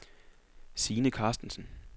Sine Carstensen